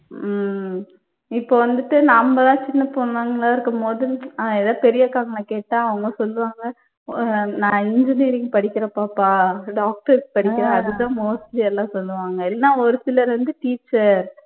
உம் இப்ப வந்துட்டு நம்மெல்லாம் சின்னப் பொண்ணுங்களா இருக்கும்போது ஆஹ் ஏதாவது பெரிய அக்காங்களை கேட்டா அவங்க சொல்லுவாங்க அஹ் நான் engineering படிக்கிறேன் பாப்பா doctor க்கு படிக்கிறேன் அது தான் mostly எல்லாம் சொல்லுவாங்க இல்லன்னா ஒரு சிலர் வந்து teacher